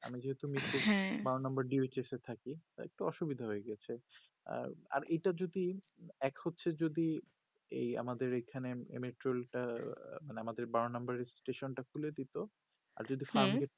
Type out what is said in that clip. আমার যেহুতু নিচে হ্যা বারো নম্বর diuches এ থাকি তা একটু অসুবিধা হয়ে গিয়াছে আর আর এটা যদি এক হচ্ছে যদি এই আমাদের এখানে এই metrol টা মানে আমাদের বারো নম্বর এর station টা খুলে দেতো আর যদি হু